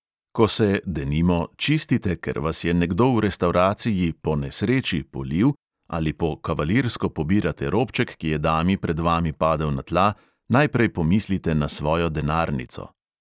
Ko se, denimo, čistite, ker vas je nekdo v restavraciji "po nesreči" polil, ali po kavalirsko pobirate robček, ki je dami pred vami padel na tla, najprej pomislite na svojo denarnico.